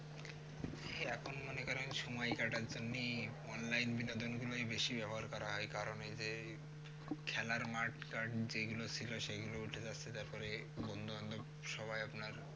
সে আপনি মনে করেন সময় কাটার জন্যই online বিনোদন গুলোই বেশি ব্যবহার করা হয় কারণে যে খেলার মাঠ টাট যেগুলোর ছিল সেই গুলো দেখা যাচ্ছে পরে বন্ধুবান্ধব সবাই আপনার